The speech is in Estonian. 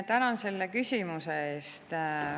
Tänan selle küsimuse eest.